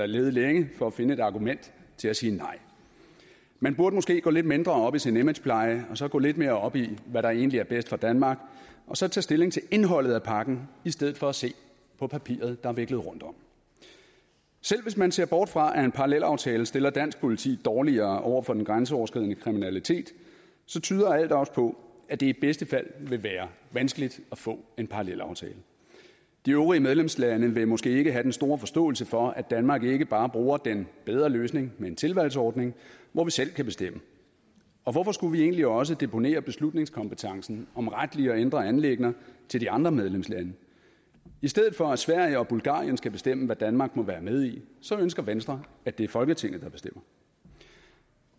lede længe for at finde et argument til at sige nej man burde måske gå lidt mindre op i sin imagepleje og så gå lidt mere op i hvad der egentlig er bedst for danmark og så tage stilling til indholdet af pakken i stedet for at se på papiret der er viklet rundtom selv hvis man ser bort fra at en parallelaftale stiller dansk politi dårligere over for den grænseoverskridende kriminalitet så tyder alt også på at det i bedste fald vil være vanskeligt at få en parallelaftale de øvrige medlemslande vil måske ikke have den store forståelse for at danmark ikke bare bruger den bedre løsning med en tilvalgsordning hvor vi selv kan bestemme og hvorfor skulle vi egentlig også deponere beslutningskompetencen om retlige og indre anliggender til de andre medlemslande i stedet for at sverige og bulgarien skal bestemme hvad danmark må være med i så ønsker venstre at det er folketinget der bestemmer